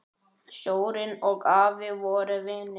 Sjórinn og afi voru vinir.